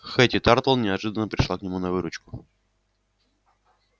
хэтти тарлтон неожиданно пришла к нему на выручку